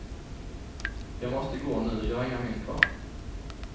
Jag måste gå nu, jag har inga mynt kvar.